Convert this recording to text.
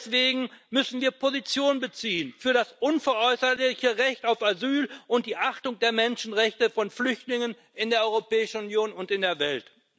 Deswegen müssen wir Position beziehen für das unveräußerliche Recht auf Asyl und die Achtung der Menschenrechte von Flüchtlingen in der Europäischen Union und in der Welt.